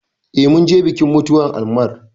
Eh, mun je bikin mutuwar Ammar